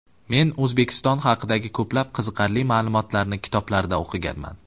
Men O‘zbekiston haqidagi ko‘plab qiziqarli ma’lumotlarni kitoblarda o‘qiganman.